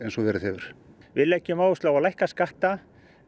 og verið hefur við leggjum áherslu á að lækka skatta